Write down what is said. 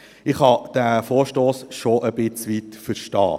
Ich kann diesen Vorwurf schon ein Stück weit verstehen.